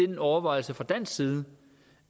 den overvejelse fra dansk side